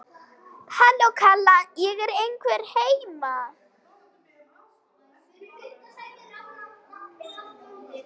Halló, kalla ég, er einhver heima?